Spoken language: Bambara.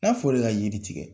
N'a fɔl'e ka yiri tigɛ